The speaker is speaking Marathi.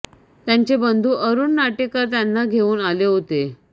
त्यांचे बंधू अरुण नाटेकर त्यांना घेऊन आले होते